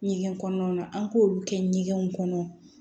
Ɲɛgɛn kɔnɔna an k'olu kɛ ɲɛgɛnw kɔnɔ